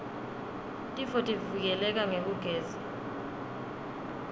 tifotivike leka ngekugeza